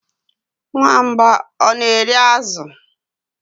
Nwamba ọ na-eri azụ?